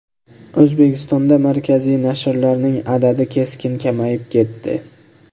O‘zbekistonda markaziy nashrlarning adadi keskin kamayib ketdi.